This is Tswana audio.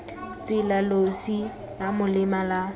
tsela losi la molema la